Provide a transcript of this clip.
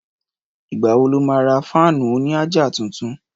Ìgbà wo lo má ra fáànù òní àjà tuntun?